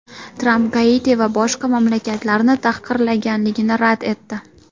Tramp Gaiti va boshqa mamlakatlarni tahqirlaganligini rad etdi.